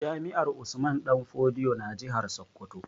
Jami'ar Usman danfodiyo na jihar Sokoto